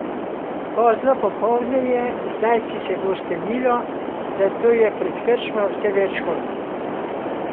Pozno popoldne je, zdajci se bo stemnilo, zato je pred krčmo vse več konj.